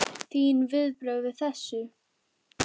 Þín viðbrögð við þessu?